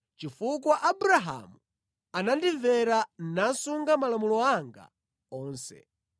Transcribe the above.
chifukwa Abrahamu anandimvera, nasunga malamulo anga onse.”